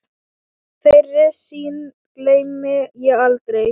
Þeirri sýn gleymi ég aldrei.